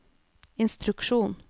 instruksjon